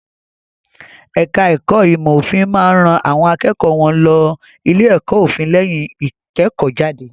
Ẹ̀ka ẹ̀kó ìmọ̀ òfin máa ń ran àwọn akẹ́kọ̀ọ́ wọn lọ ilé-ẹ̀kọ́ òfin lẹ́yìn ìkẹ́kọ̀ọ́jáde.